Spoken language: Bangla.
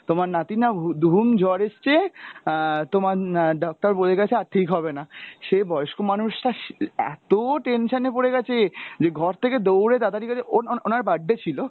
তোমার নাতির না উদ্হুম জ্বর এসছে আহ তোমার আহ doctor বলে গেছে আর ঠিক হবে না, সে বয়স্ক মানুষটা এত tension এ পড়ে গেছে যে ঘর থেকে দৌড়ে তাড়াতাড়ি গেছে ওন~ ওন~ ওনার birthday ছিল।